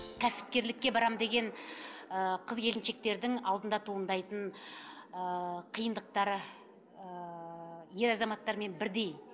кәсіпкерлікке барамын деген ыыы қыз келіншектердің алдында туындайтын ыыы қиындықтары ыыы ер азаматтармен бірдей